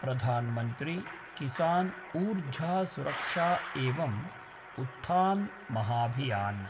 प्रधान् मन्त्री किसान् ऊर्ज सुरक्षा एवं उत्थान् महाभियान्